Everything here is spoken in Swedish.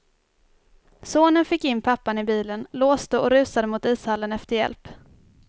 Sonen fick in pappan i bilen, låste och rusade mot ishallen efter hjälp.